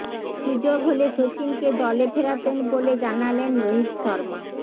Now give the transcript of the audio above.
সুযোগ হলে সচিনকে দলে ফেরাতেন বলে জানালেন রোহিত শর্মা